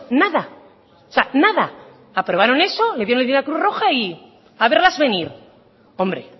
nada o sea nada aprobaron eso se lo dieron a la cruz roja y a verlas venir hombre